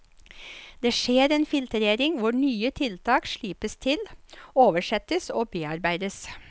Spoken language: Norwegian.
Det skjer en filtrering hvor nye tiltak slipes til, oversettes og bearbeides.